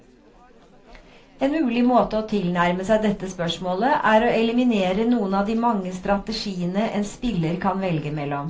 En mulig måte å tilnærme seg dette spørsmålet, er å eliminere noen av de mange strategiene en spiller kan velge mellom.